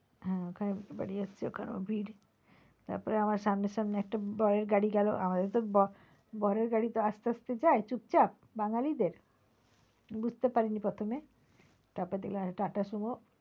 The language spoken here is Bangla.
হ্যাঁ ওখানে বিয়ে বাড়ি হচ্ছে ওখানেও ভিড় তারপর আমার সামনে সামনে একটা বরের গাড়ি গেলো আমাদের তো বরের গাড়ি তো আসতে আসতে যায় চুপচাপ বাঙালি দের বুঝতে পারিনি প্রথমে তারপর দেখলাম TATA Sumo